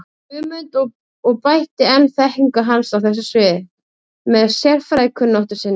Guðmund og bætti enn þekkingu hans á þessu sviði með sérfræðikunnáttu sinni.